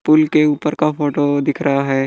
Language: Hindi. पुल के ऊपर का फोटो दिख रहा है।